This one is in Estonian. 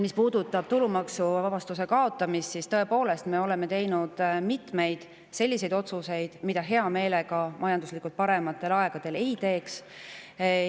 Mis puudutab maksuvaba kaotamist, siis tõepoolest, me oleme teinud mitmeid selliseid otsuseid, mida majanduslikult parematel aegadel hea meelega ei teeks.